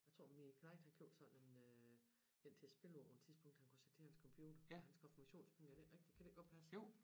Jeg tror min knejt har gjort sådan øh en til at spille hvor man tidspunkt har kunne sætte til hans computer for hans konfirmationspenge er det ikke rigtig kan det ikke godt passe